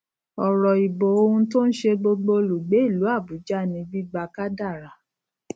òrò ìbò ohun tó n ṣe gbogbo olùgbé ìlú àbújá ni gbígbà kádàrá